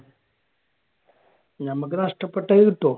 നമ്മക്ക് നഷ്ടപ്പെട്ടത് കിട്ടുമോ?